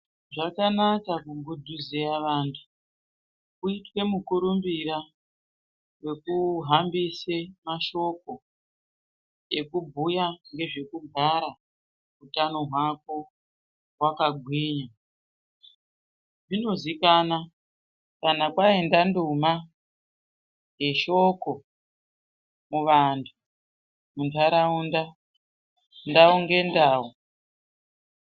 Zvakanaka kugudhuzeya vanthu kuite mukurumbira wekuhambise mashoko ekubhuya ngezvekugara utano hwako hwakagwinya zvinozikanwa kana kwaenda nduma yeshoko muvanthu muntharaunda ndau ngendau.